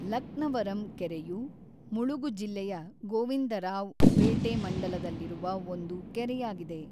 ಲಕ್ನವರಂ ಕೆರೆಯು ಮುಳುಗು ಜಿಲ್ಲೆಯ ಗೋವಿಂದರಾವ್ ಪೇಟೆ ಮಂಡಲದಲ್ಲಿರುವ ಒಂದು ಕೆರೆಯಾಗಿದೆ.